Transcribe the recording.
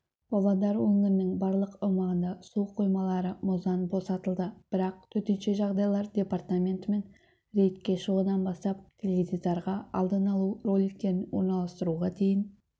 павлодар өңірінің барлық аумағында су қоймалары мұздан босатылды бірақ төтенше жағдайлар департаментімен рейдке шығудан бастап теледидарға алдын алу роликтерін орналастыруға дейін